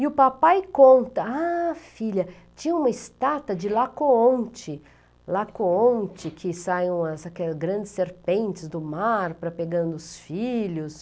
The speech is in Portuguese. E o papai conta, ah filha, tinha uma estátua de Laocoonte, Lapcoonte que saem umas, grandes serpentes do mar para pegando os filhos.